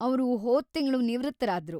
ಅವ್ರು ಹೋದ್‌ ತಿಂಗ್ಳು ನಿವೃತ್ತರಾದ್ರು.